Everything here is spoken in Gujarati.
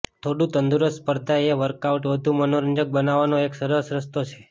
થોડું તંદુરસ્ત સ્પર્ધા એ વર્કઆઉટ વધુ મનોરંજક બનાવવાનો એક સરસ રસ્તો છે